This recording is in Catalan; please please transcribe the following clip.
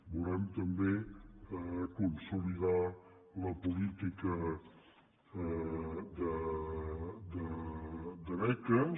volem també consolidar la política de beques